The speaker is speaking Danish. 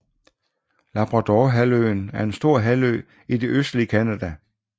Labradorhalvøen er en stor halvø i det østlige Canada